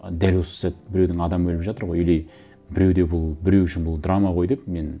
ы дәл осы сәт біреудің адамы өліп жатыр ғой или біреуде бұл біреу үшін бұл драма ғой деп мен